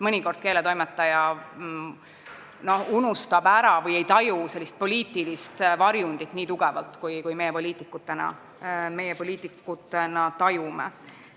Mõnikord keeletoimetaja unustab ära sellise poliitilise varjundi või ei taju seda nii tugevalt, kui meie poliitikutena tajume.